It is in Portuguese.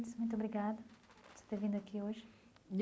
muito obrigada por você ter vindo aqui hoje.